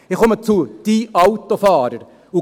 Ich komme zu «den» Autofahrern.